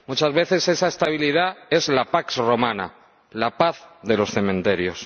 Muchas veces esa estabilidad es la pax romana la paz de los cementerios.